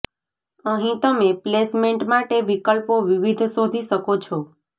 અહીં તમે પ્લેસમેન્ટ માટે વિકલ્પો વિવિધ શોધી શકો છો